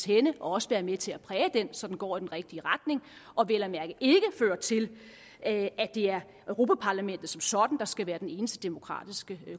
henne og også være med til at præge den så den går i den rigtige retning og vel at mærke ikke fører til at det er europa parlamentet som sådan der skal være den eneste demokratiske